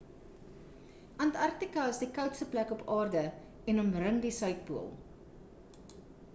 antarktika is die koudste plek op aarde en omring die suidpool